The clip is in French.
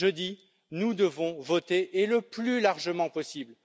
Jeudi, nous devrons voter, et le plus largement possible.